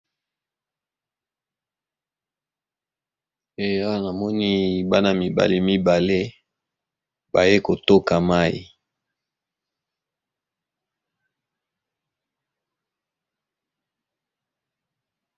Eya namoni bana mibale mibale baye kotoka mayi.